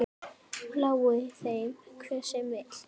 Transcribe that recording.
Lái þeim hver sem vill.